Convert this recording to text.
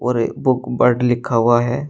और ये book world लिखा हुआ है।